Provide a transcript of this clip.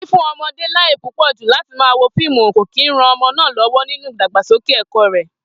Fífún o̩mo̩dé láyè púpò̩ jù láti máa wo fíìmù kò ní ran o̩mo̩ náà ló̩wó̩ nínú ìdàgbàsókè è̩kó̩ rè̩